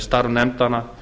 starf nefndanna